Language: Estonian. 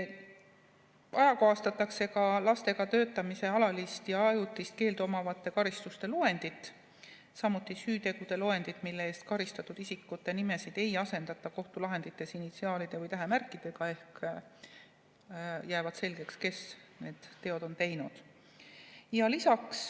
Ajakohastatakse ka lastega töötamise alalist ja ajutist keeldu omavate karistuste loendit, samuti süütegude loendit, mille eest karistatud isikute nimesid ei asendata kohtulahendites initsiaalide või tähemärkidega ehk on selge, kes need teod on teinud.